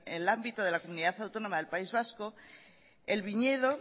en el ámbito de la comunidad autónoma del país vasco el viñedo